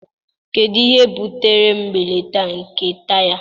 Kedu ihe butere mbelata nke taya?